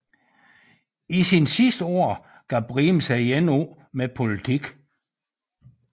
I sine sidste år gav Briem sig igen af med politik